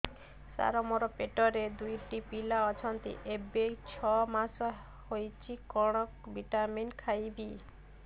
ସାର ମୋର ପେଟରେ ଦୁଇଟି ପିଲା ଅଛନ୍ତି ଏବେ ଛଅ ମାସ ହେଇଛି କଣ ଭିଟାମିନ ଖାଇବି